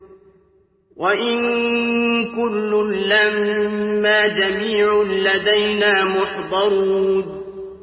وَإِن كُلٌّ لَّمَّا جَمِيعٌ لَّدَيْنَا مُحْضَرُونَ